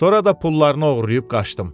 Sonra da pullarını oğurlayıb qaçdım.